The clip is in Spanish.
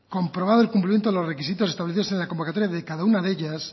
comprobado el cumplimiento de los requisitos establecidos en la convocatoria de cada una de ellas